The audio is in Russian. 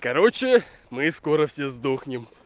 короче мы скоро все сдохнем